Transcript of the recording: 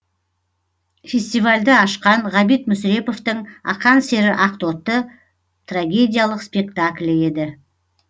фестивальді ашқан ғабит мүсіреповтың ақан сері ақтоты трагедиялық спектаклі еді